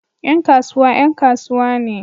Yan kasuwa 'yan kasuwa ne